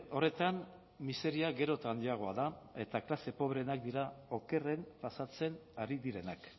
horretan miseria gero eta handiagoa da eta klase pobreenak dira okerren pasatzen ari direnak